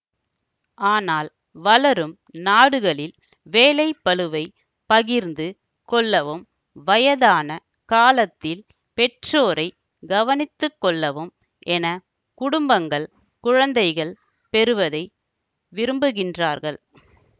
ஆனால் வளரும் நாடுகளில் வேலைப்பளுவை பகிர்ந்து கொள்ளவும் வயதான காலத்தில் பெற்றோரை கவனித்துக்கொள்ளவும் என குடும்பங்கள் குழந்தைகள் பெறுவதை விரும்புகின்றார்கள்